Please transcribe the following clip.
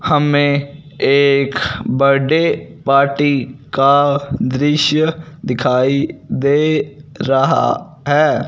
हमें एक birthday party का दृश्य दिखाई दे रहा है।